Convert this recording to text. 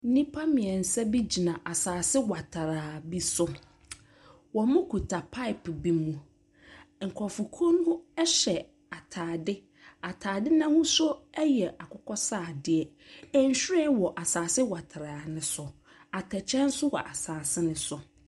Nnipa mmiɛnsa bi gyina asase watraa bi so. Wɔkuta pipe bi mu. Nkrɔfokuw no hyɛ ataade. Ataadeɛ no n'ahosuo yɛ akokɔsradeɛ. Nhwiren wɔ asase watraa no so. Atɛkyɛ nso wɔ asase no so.